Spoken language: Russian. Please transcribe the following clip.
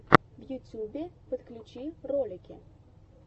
в ютьюбе подключи ролики